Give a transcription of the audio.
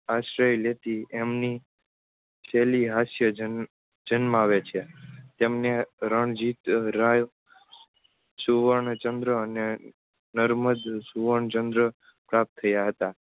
આશ્રય લેતી એમની છેલિહાસ્ય જન જન્માવે છે. તેમને રણજિતરાય સુવર્ણ ચન્દ્ર અને નર્મદ સુવર્ણ ચન્દ્ર પ્રાપ્ત થયા હતા.